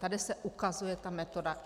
Tady se ukazuje ta metoda.